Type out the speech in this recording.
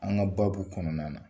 An ka baabu kɔnɔna na.